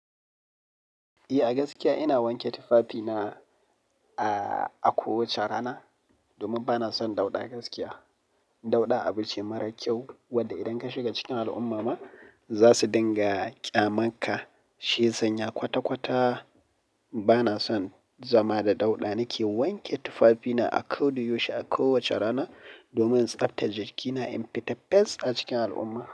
Eh, a gaskiya ina wanke tufafina a, a kowace rana domin bana son dauɗa gaskiya. Dauɗa abu ce mara kyau wanda idan ka shiga cikin al'umma ma za su dinga ƙyamanka, shi sanya kwata kwata. Bana son zama da dauɗa. Nake wanke tufafina a koɗa yaushe a kowace rana domin in tsabtar jikina in fita fes a cikin al'umma.